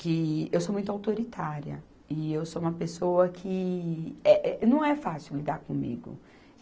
que eu sou muito autoritária e eu sou uma pessoa que, eh, eh, não é fácil lidar comigo.